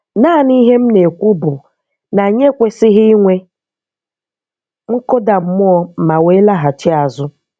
Naanị ihe m na-ekwu bụ na anyị ekwesịghị inwe nkụda mmụọ ma wee laghachi azụ.